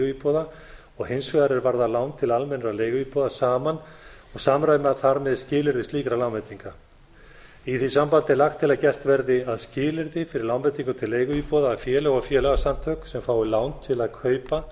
leiguíbúða og hins vegar er varða lán til almennra leiguíbúða saman og samræma þar með skilyrði slíkra lánveitinga í því sambandi er lagt til að gert verði að skilyrði fyrir lánveitingum til leiguíbúða að félög og félagasamtök sem fá lán